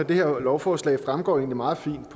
det her lovforslag fremgår egentlig meget fint